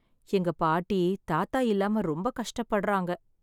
எங்க பாட்டி தாத்தா இல்லாம ரொம்ப கஷ்டப்படுறாங்க.